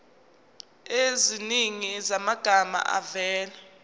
eziningi zamagama avela